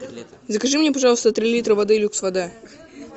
закажи мне пожалуйста три литра воды люкс вода